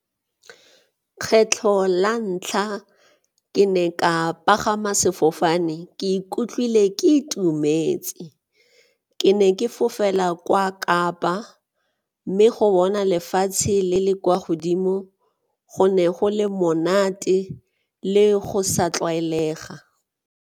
Kgetlho la ntlha ke ne ka pagama sefofane ke ikutlwile ke itumetse. Ke ne ke fofela kwa Kapa mme go bona lefatshe le le kwa godimo go ne go le monate le go sa tlwaelega.